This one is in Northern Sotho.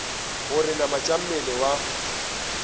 gore namana tša mmele wa